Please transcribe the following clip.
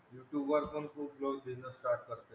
youtube वर पण खूप लोक business start करत आहे.